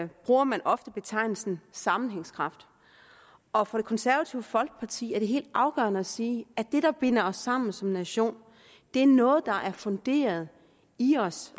bruger man ofte betegnelsen sammenhængskraft og for det konservative folkeparti er det helt afgørende at sige at det der binder os sammen som nation er noget der er funderet i os